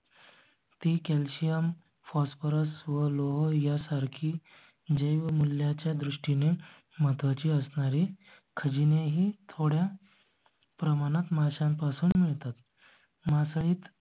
ते calcium phosphorus व लोह यासारखी जय मूल्या च्या दृष्टीने महत्त्वाची असणार आहे. खजी नेही थोड्या. प्रमाणात माशांपासून मिळतात. मासळीत